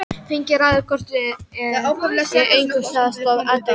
Þingið ræður hvort eð er engu það stóð aldrei til.